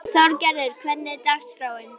Þorgarður, hvernig er dagskráin?